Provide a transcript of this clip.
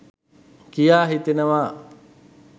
කියා හිතෙනවා.